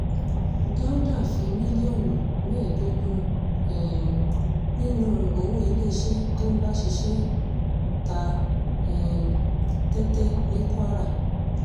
dáùdà fi mílíọ̀nù mẹ́ẹ̀ẹ́dógún um nínú owó iléeṣẹ́ tó ń bá ṣiṣẹ́ ta um tẹ́tẹ́ ní kwara